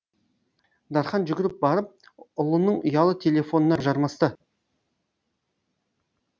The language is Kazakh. дархан жүгіріп барып ұлының ұялы телефонына жармасты